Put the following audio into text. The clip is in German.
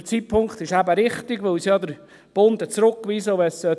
Der Zeitpunkt ist gerade der richtige, weil der Bund es eben zurückgewiesen hat.